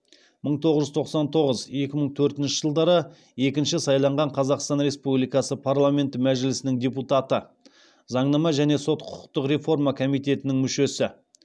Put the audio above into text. мың тоғыз жүз тоқсан тоғыз екі мың төртінші жылдары екінші сайланған қазақстан республикасы парламенті мәжілісінің депутаты заңнама және сот құқықтық реформа комитетінің мүшесі